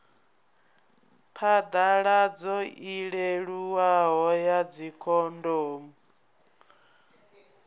phaḓaladzo i leluwaho ya dzikhondomu